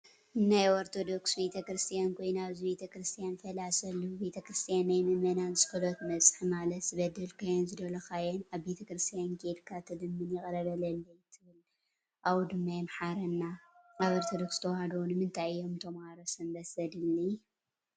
ናይ ኦርቶዶክስ ቤተ-ክርስትያን ኮይኑ ኣብዚ ቤተክርስትያን ፋላሲ ኣለው። ቤተ-ክርስትያን ናይ ምእመናን ፆሎት መብፅሒ ማለትዝበደልካዮን ዝደልካዮን ኣብ ቤተክርስትያን ከይድካ ትልምን ይቅረ በለለይ ትብል ካብኡ ድማ ይምሕረና ። ኣብ ኦርቶዶርስ ተዋህዶ ንምንታይ እዮም ተማሃሮ ሰንበት ዘድሊ ?